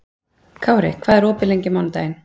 Kári, hvað er opið lengi á mánudaginn?